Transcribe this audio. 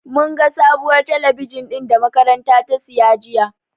Mun ga sabuwar talabijin ɗin da da makarantar ta siya jiya.